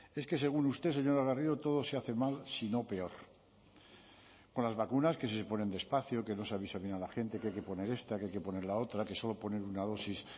es que según usted señora garrido todo se hace mal si no peor con las vacunas que si se ponen despacio que no se avisa bien a la gente que hay que poner esta que hay que poner la otra que solo poner una dosis